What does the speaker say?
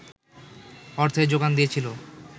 অর্থের যোগান দিয়েছিলো